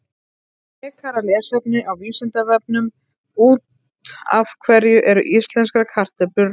Frekara lesefni á Vísindavefnum: Út af hverju eru íslenskar kartöflur rauðar?